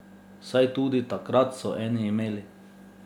Saj tudi takrat so eni imeli.